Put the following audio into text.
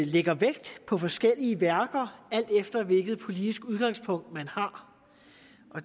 lægger vægt på forskellige værker alt efter hvilket politisk udgangspunkt man har